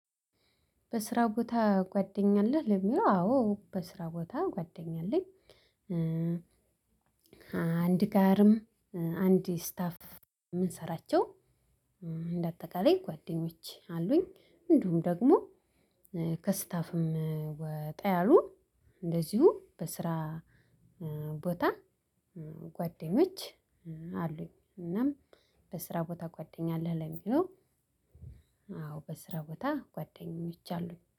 በስራ ቦታ ጓደኛ አለህ? ለሚለው አዎ በስራ ቦታ ጓደኛ አለኝ አንድ ጋርም አንድ ስታፍ ምንሰራቸው እንደ አጠቃላይ ጓደኞች አሉኝ። እንዲሁም ደግሞ ከስታፍም ወጣ ያሉ እንደዚሁ በስራ ቦታ ጓደኞች አሉኝ እናም በስራ ቦታ ጓደኛ አለህ? ለሚለው አዎ በስራ ቦታ ጓ ደኞች አሉኝ።